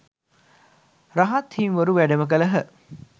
රහත් හිමිවරු වැඩම කළහ